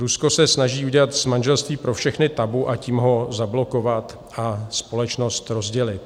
Rusko se snaží udělat z manželství pro všechny tabu, tím ho zablokovat a společnost rozdělit.